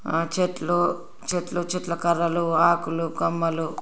ఆ చెట్లు చెట్లు చెట్ల కర్రలు ఆకులు కొమ్మలు--